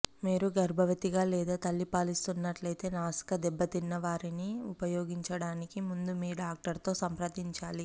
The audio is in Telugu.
మీరు గర్భవతిగా లేదా తల్లి పాలిస్తున్నట్లయితే నాసికా దెబ్బతిన్నవారిని ఉపయోగించటానికి ముందు మీ డాక్టర్తో సంప్రదించాలి